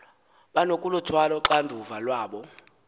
banokuluthwala uxanduva lwabo